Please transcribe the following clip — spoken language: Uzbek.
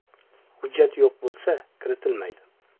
Hujjat yo‘q bo‘lsa, kiritilmaydi.